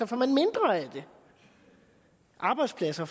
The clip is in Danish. får man mindre af det arbejdspladser